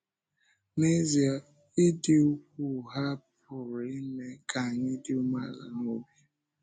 N’ezie, ịdị́ ukwuu ha pụrụ ime ka anyị dị umeala n’obi!